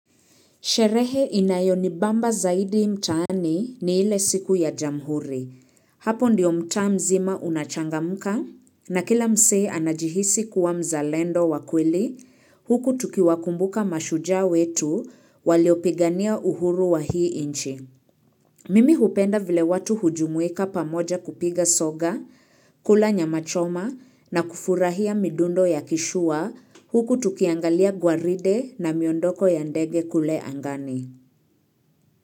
Sherehe inayonibamba zaidi mtaani ni ile siku ya jamhuri. Hapo ndiyo mtaa mzima unachangamka na kila msee anajihisi kuwa mzalendo wa kweli. Huku tukiwakumbuka mashujaa wetu waliopigania uhuru wa hii nchi. Mimi hupenda vile watu hujumuika pamoja kupiga soga, kula nyamachoma na kufurahia midundo ya kishua. Huku tukiangalia gwaride na miondoko ya ndege kule angani.